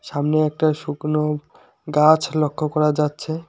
সামনে একটা শুকনো গাছ লক্ষ্য করা যাচ্ছে।